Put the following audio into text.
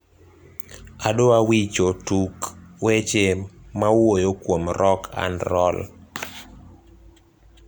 adwa wicho tuk weche mawuoyo kuom rock and roll